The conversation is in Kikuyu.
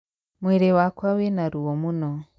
Mwĩrĩ wakwa wĩna ruo mũno.